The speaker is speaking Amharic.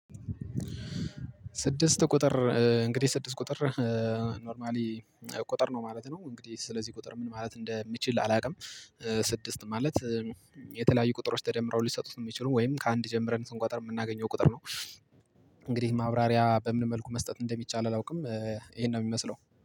ስድስት ቁጥር እንግዲህ ስድስት ቁጥር ኖርማሊ ቁጥር ነው ማለት ነው እንግዲህ ስለዚህ ቁጥር ምን ማለት እንደምችል አላውቅም። ስድስት ማለት የተለያዩ ቁጥሮች ተደምረው ሊሰጡት የሚችሉ ወይም ከአንድ ጀምረን ስንቆጠር የምናገኘው ቁጥር ነው። እንግዲህ ማብራሪያ በምን መልኩ መስጠት እንደሚቻል አላውቅም። ይሄን ነው የሚመስለው